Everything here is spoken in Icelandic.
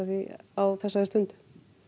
því á þessari stundu